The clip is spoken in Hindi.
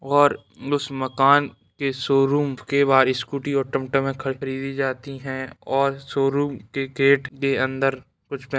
और उस मकान के शोरुम के बाहर स्कूटी और टमटम ख-खरीदी जाती है और शोरूम के गेट के अंदर कुछ --